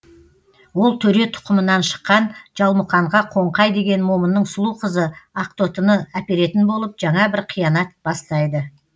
ол төре тұқымынан шыққан жалмұқанға қоңқай деген момынның сұлу қызы ақтотыны әперетін болып жаңа бір қиянат бастайды